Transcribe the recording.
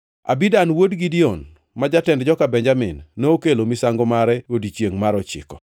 Abidan wuod Gideoni, ma jatend joka Benjamin, nokelo misango mare e odiechiengʼ mar ochiko.